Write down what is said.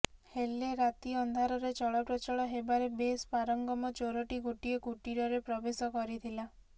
ହେଲେ ରାତି ଅନ୍ଧାରରେ ଚଳପ୍ରଚଳ ହେବାରେ ବେଶ୍ ପାରଙ୍ଗମ ଚୋରଟି ଗୋଟିଏ କୁଟୀରରେ ପ୍ରବେଶ କରିଥିଲା